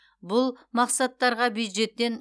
бұл мақсаттарға бюджеттен